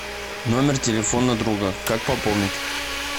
номер телефона друга как пополнить